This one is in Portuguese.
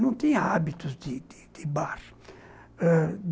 Não tinha hábitos de de de bar ãh